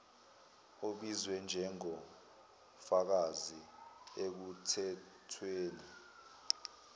obizwe njengofakazi ekuthethweni